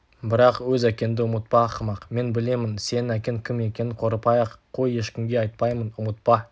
бірақ өз әкеңді ұмытпа ақымақ мен білемін сенің әкең кім екенін қорықпай-ақ қой ешкімге айтпаймын ұмытпа